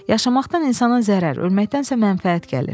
Yaşamaqdan insana zərər, ölməkdənsə mənfəət gəlir.